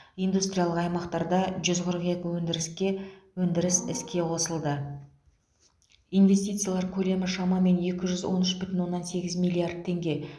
индустриялық аймақтарда жүз қырық екі өндіріске өндіріс іске қосылды инвестициялар көлемі шамамен екі жүз он үш бүтін оннан сегіз миллард теңге